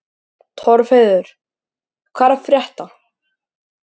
Torfheiður, hvað er að frétta?